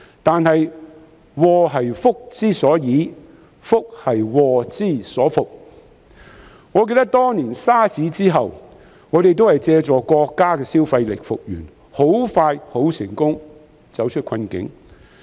但是，"禍兮福之所倚，福兮禍之所伏"，我記得當年 SARS 之後，我們也是借助國家的消費力復原，很快便成功走出困境。